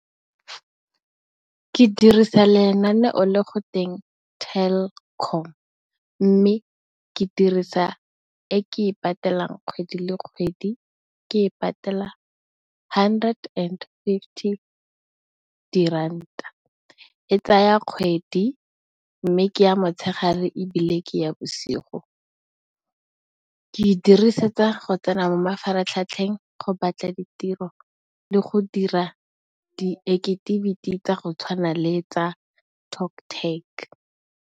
Ke dirisa lenaneo le go teng Telkom mme, ke dirisa e ke e patelang kgwedi le kgwedi, ke e patela hundred and fifty ka diranta. E tsaya kgwedi mme, ke ya motshegare ebile, ke ya bosigo. Ke e dirisetsa go tsena mo mafaratlhatlheng go batla ditiro le go dira di ekitiviti tsa go tshwana le tsa Toptec.